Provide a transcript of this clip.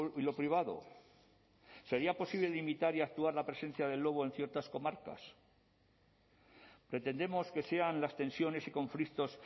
y lo privado sería posible limitar y actuar la presencia del lobo en ciertas comarcas pretendemos que sean las tensiones y conflictos